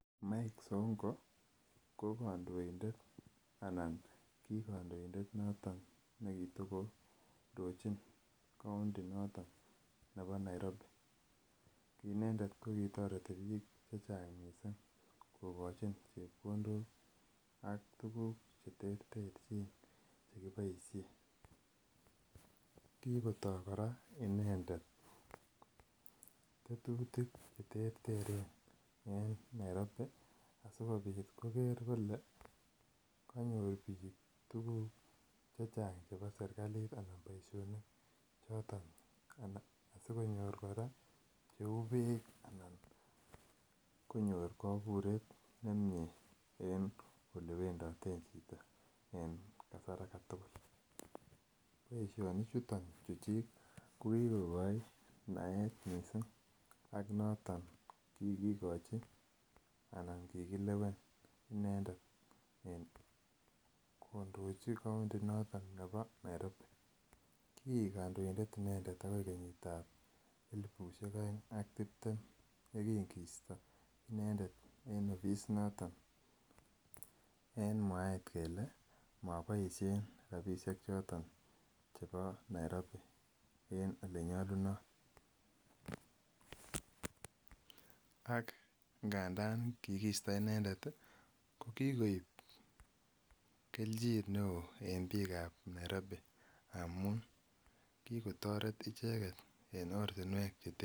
Mike sonko ko kondoindet anan kii kondoindet noton kitiko ndojin kounti noton nebo Nairobi kii indet ko kitoreti biik chechang missing kogochin chepkondok ak tuguk che terterjin che kiboishen, kikotoo koraa inendet tetutik che terteren en Nairobi asikopit koger kole konyor biik tuguk chechang chebo serkalit anan boisionik choton asikonyor koraa che uu biik ana konyor koburet nemie en olewendoten chito en kasar agetugul. Boisionik chuton chuchik ko kikogoi naet missing ak noton kikigochi anan kikilewen inendet kondoji kounti noton nebo Nairobi. Kiik kondoindet inendet agoi kenyitab elipushek oeng ak tibtem yekin kisto inendet en obisit noton en mwaet kelee moboishen rabishek choton che Nairobi en ole nyolunot, ak ngandan kikisto inendet ii ko kikoib keljin ne oo en biikab Nairobi amun kigotoret icheget en ortinwek